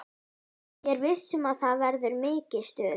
Ég er viss um að það verður mikið stuð.